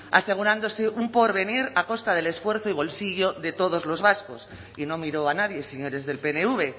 asegurándose un porvenir a costa del esfuerzo y bolsillo de todos los vascos y no miro a nadie señores del pnv